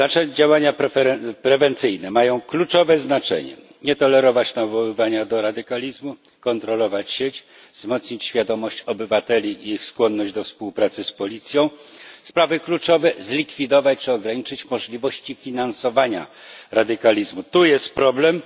Działania prewencyjne mają kluczowe znaczenie nie tolerować nawoływania do radykalizmu, kontrolować sieć, wzmocnić świadomości obywateli i ich skłonność do współpracy z policją. Sprawy kluczowe zlikwidować czy ograniczyć możliwości finansowania radykalizmu. Tu jest problem.